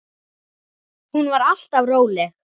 Hún var alltaf róleg.